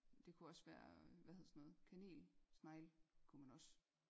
Det kunne også være hvad hedder sådan noget kanel snegle kunne man også